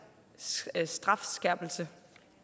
strafskærpelse